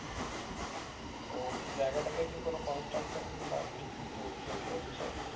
ও নিয়ে জায়গাটা তে কি কোনো contraction বা কিছু তো তৈরী করছে